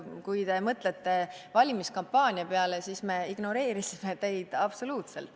Kui te mõtlete valimiskampaania peale, siis me ignoreerisime teid absoluutselt.